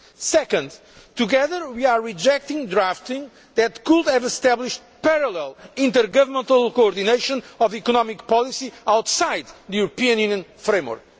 Second together, we are rejecting drafting that could have established parallel intergovernmental coordination of economic policy outside the European Union framework.